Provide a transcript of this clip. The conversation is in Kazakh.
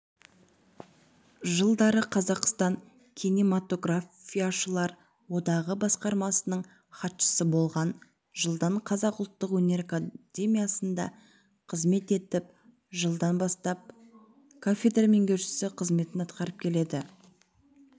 жылдары қазақстан кинематографияшылар одағы басқармасының хатшысы болған жылдан қазақ ұлттық өнер академиясында қызмет етіп жылдан бастап кафедра меңгерушісі қызметін атқарып келді